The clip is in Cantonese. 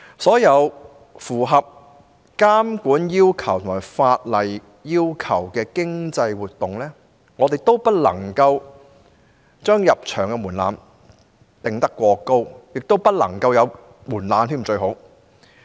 所有符合監管要求及法例要求的經濟活動的入場門檻均不能過高，最好不要設任何門檻。